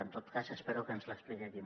en tot cas espero que ens l’expliqui aquí